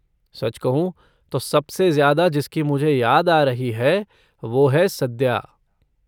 सच कहूँ तो, सबसे ज्यादा जिसकी मुझे याद आ रही है वो है सद्या।